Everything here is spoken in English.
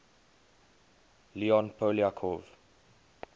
leon poliakov